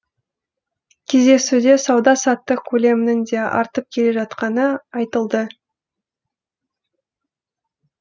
кездесуде сауда саттық көлемінің де артып келе жатқаны айтылды